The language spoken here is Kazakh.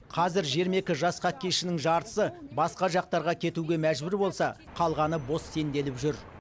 қазір жиырма екі жас хоккейшінің жартысы басқа жақтарға кетуге мәжбүр болса қалғаны бос сенделіп жүр